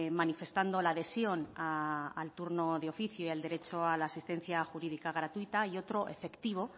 manifestando la adhesión al turno de oficio y al derecho a la asistencia jurídica gratuita y otro efectivo